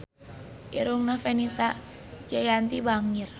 Irungna Fenita Jayanti bangir